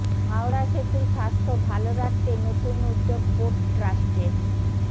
হাওড়া সেতুর স্বাস্থ্য ভালো রাখতে নতুন উদ্যোগ পোর্ট ট্রাস্টের